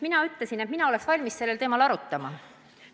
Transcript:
Mina ütlesin, et mina olen valmis sellel teemal arutama.